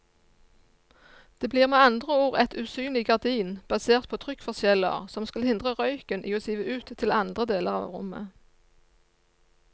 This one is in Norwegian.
Det blir med andre ord et usynlig gardin basert på trykkforskjeller som skal hindre røyken i å sive ut til andre deler av rommet.